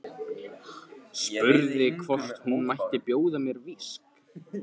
Spurði hvort hún mætti bjóða mér viskí.